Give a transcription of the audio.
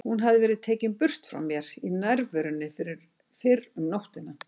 Hún hafði verið tekin burt frá mér í nærverunni fyrr um nóttina.